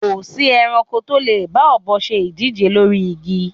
Kò sí ẹranko tó lè bá ọ̀bọ se ìdíje lórí igi